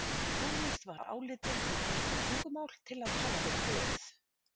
Tónlist var álitin hið rétta tungumál til að tala við Guð.